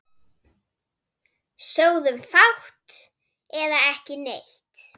Sögðum fátt eða ekki neitt.